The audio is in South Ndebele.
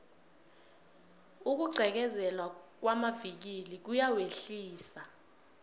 ukugqekezelwa kwamavikili kuyawehlisa